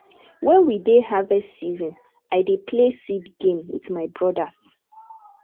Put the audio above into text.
wen we dey harvest season i dey play seed game wit my brodas